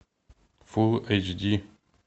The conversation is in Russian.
фул эйч ди